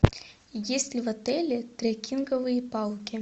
есть ли в отеле трекинговые палки